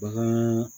Bagan